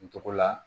N tɔgɔla